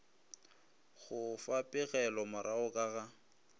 go fa pegelomorago ka ga